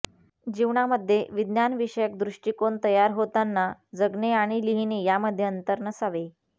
जीवनामध्ये विज्ञानविषयक दृष्टिकोन तयार होताना जगणे आणि लिहिणे यामध्ये अंतर नसावे